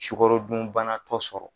Sukɔrodunbana tɔ sɔrɔ